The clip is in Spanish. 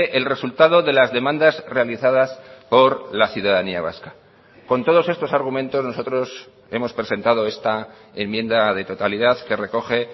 el resultado de las demandas realizadas por la ciudadanía vasca con todos estos argumentos nosotros hemos presentado esta enmienda de totalidad que recoge